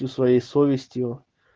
своей совестью